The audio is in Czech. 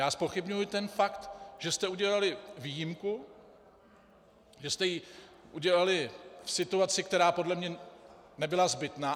Já zpochybňuji ten fakt, že jste udělali výjimku, že jste ji udělali v situaci, která podle mě nebyla zbytná.